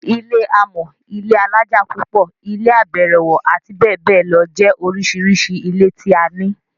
Ilé amọ́, ilé alájà pupo, ilé abẹ̀rẹ̀wọ̀, abbl jẹ́ oríṣiríṣi ilé tí a ní.